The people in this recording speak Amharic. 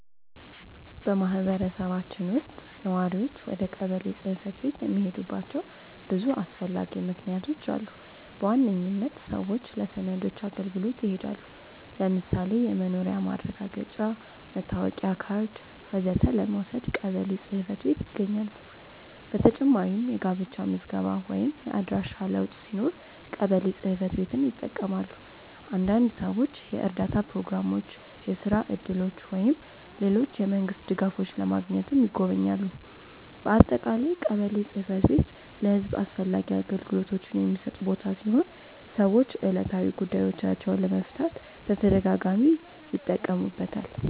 በማህበረሰባችን ውስጥ ነዋሪዎች ወደ ቀበሌ ጽ/ቤት የሚሄዱባቸው ብዙ አስፈላጊ ምክንያቶች አሉ። በዋነኝነት ሰዎች ለሰነዶች አገልግሎት ይሄዳሉ። ለምሳሌ የመኖሪያ ማረጋገጫ፣ መታወቂያ ካርድ ወዘተ ለመውሰድ ቀበሌ ጽ/ቤት ይጎበኛሉ። በተጨማሪም የጋብቻ ምዝገባ ወይም የአድራሻ ለውጥ ሲኖር ቀበሌ ጽ/ቤትን ይጠቀማሉ። አንዳንድ ሰዎች የእርዳታ ፕሮግራሞች፣ የስራ እድሎች ወይም ሌሎች የመንግስት ድጋፎች ለማግኘትም ይጎበኛሉ። በአጠቃላይ ቀበሌ ጽ/ቤት ለህዝብ አስፈላጊ አገልግሎቶችን የሚሰጥ ቦታ ሲሆን ሰዎች ዕለታዊ ጉዳዮቻቸውን ለመፍታት በተደጋጋሚ ይጠቀሙበታል።